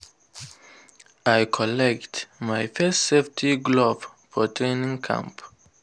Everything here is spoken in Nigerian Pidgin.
i collect my first safety glove for training camp.